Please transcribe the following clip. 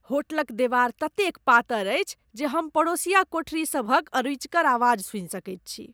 होटलक देवार ततेक पातर अछि जे हम पड़ोसिया कोठरी सभक अरुचिकर आवाज सुनि सकैत छी।